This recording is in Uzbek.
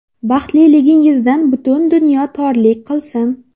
Baxtliligingizdan butun dunyo torlik qilsin!